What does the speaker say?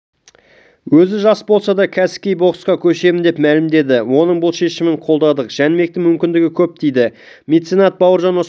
өзі жас болса да кәсіпқой боксқа көшемін деп мәлімдеді оның бұл шешімін қолдадық жәнібектің мүмкіндігі көп дейді меценат бауыржан оспанов